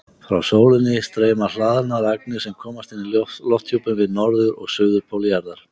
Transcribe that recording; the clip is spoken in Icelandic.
Frá sólinni streyma hlaðnar agnir sem komast inn í lofthjúpinn við norður- og suðurpól jarðar.